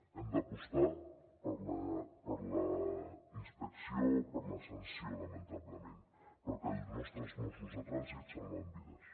hem d’apostar per la inspecció o per la sanció lamentablement perquè els nostres mossos de trànsit salven vides